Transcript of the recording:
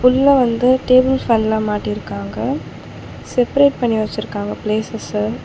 உள்ள வந்த டேபிள் ஃபேன்லா மாட்டிருக்காங்க செப்பரேட் பண்ணி வச்சிருக்காங்க ப்ளேசஸ்ஸ .